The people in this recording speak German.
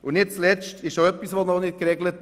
Nicht zuletzt ist die Arbeit noch nicht geregelt.